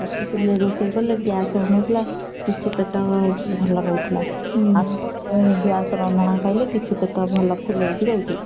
କାଠ ଚୁଲିରେ ରୋଷେଇ କଲେ gas ହଉନଥିଲା କିଛି ପେଟ ଭଲ ରହୁଥିଲା। gas ରନ୍ଧଣା ଖାଇଲେ କିଛି ପେଟ ଭଲ ଫୁଲେଇକି ରହୁଛି।